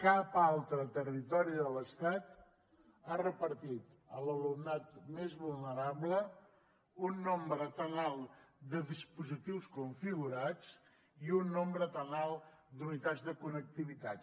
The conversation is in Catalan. cap altre territori de l’estat ha repartit a l’alumnat més vulnerable un nombre tan alt de dispositius configurats ni un nombre tan alt d’unitats de connectivitat